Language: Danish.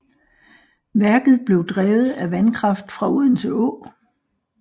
Værket blev drevet af vandkraft fra Odense Å